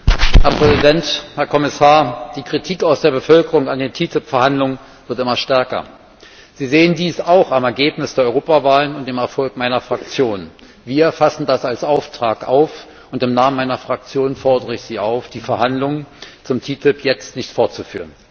Herr Präsident, Herr Kommissar! Die Kritik aus der Bevölkerung an den TTIP Verhandlungen wird immer stärker. Sie sehen dies auch am Ergebnis der Europawahl und dem Erfolg meiner Fraktion. Wir fassen das als Auftrag auf, und im Namen meiner Fraktion fordere ich Sie auf, die Verhandlungen zum TTIP jetzt nicht fortzuführen.